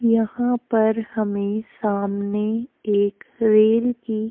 यहाँ पर हमें सामने एक रेल की --